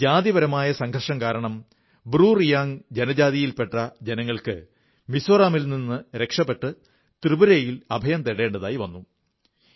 1997 ൽ ജാതിപരമായ സംഘർഷം കാരണം ബ്രു റിയാംഗ് ജനജാതിയിൽ പെട്ട ജനങ്ങൾക്ക് മിസോറാമിൽനിന്ന് രക്ഷപ്പെട്ട് ത്രിപുരയിൽ അഭയം തേടേണ്ടി വന്നിരുന്നു